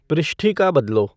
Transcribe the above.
पृष्ठिका बदलो